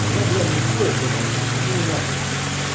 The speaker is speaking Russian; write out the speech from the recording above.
два бля не стоит братан ну его нахуй